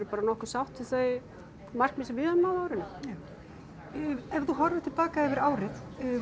bara nokkuð sátt við þau markmið sem við höfum náð á árinu já ef þú horfir til baka yfir árið